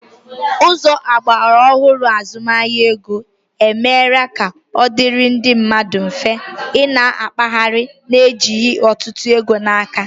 Ụzọ ogbaraohuru azụmahịa ego, e mera ka ọ dịrị ndị mmadụ mfe, ị na-akpaghari na ejighi ọtụtụ ego n'aka